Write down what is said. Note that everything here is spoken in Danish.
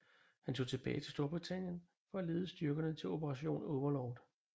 Han tog tilbage til Storbritannien for at lede styrkerne til Operation Overlord